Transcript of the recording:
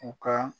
U ka